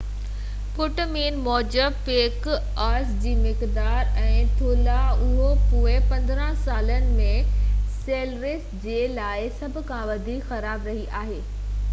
پٽ مين موجب پيڪ آئس جي مقدار ۽ ٿولهہ اهو پوئين 15 سالن ۾ سيلرس جي لاءِ سڀ کان وڌيڪ خراب رهئي آهي